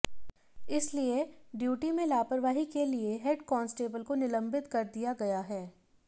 इसलिए ड्यूटी में लापरवाही के लिए हेड कॉन्सटेबल को निलंबित कर दिया गया है